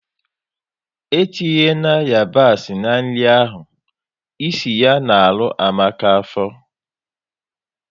É tinye na yabasi na nri ahụ! É si ya na arụ Amaka afọ